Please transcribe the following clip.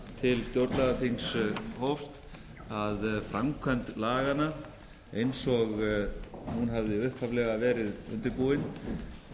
til stjórnlagaþings hófst að framkvæmd laganna eins og hún hafði upphaflega verið undirbúin